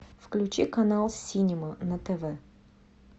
включи канал синема на тв